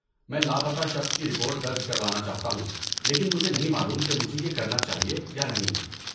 میں لاپتہ شخص کی رپورٹ درج کروانا چاہتا ہوں لیکن مجھے نہیں معلوم کہ مجھے یہ کرنا چاہیے یا نہیں۔